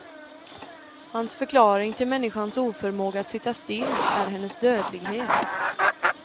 Hans förklaring till människans oförmåga att sitta still är hennes dödlighet.